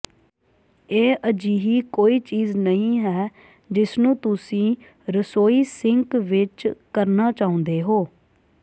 ਇਹ ਅਜਿਹੀ ਕੋਈ ਚੀਜ਼ ਨਹੀਂ ਹੈ ਜਿਸਨੂੰ ਤੁਸੀਂ ਰਸੋਈ ਸਿੰਕ ਵਿਚ ਕਰਨਾ ਚਾਹੁੰਦੇ ਹੋ